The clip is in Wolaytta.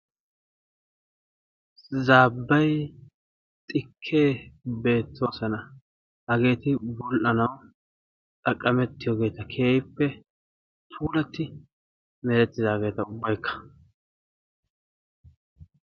Zaabbay xikkee beettoosona. hageeti bul"anawu xaqamettiyoogeta. keehippe puulatti beettidaageta ubbaykka.